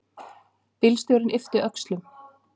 Bílstjórinn yppti öxlum.